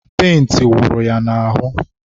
penti wụrụ ya n'ahụ..